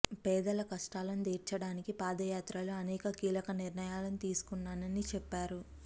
పేదల కష్టాలను తీర్చడానికి పాదయాత్రలోే అనేక కీలక నిర్ణయాలను తీసుకున్నానని చెప్పారు